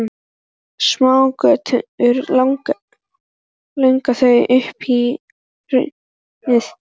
Smágötur lágu þó upp í hraunið.